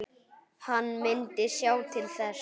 Hann myndi sjá til þess.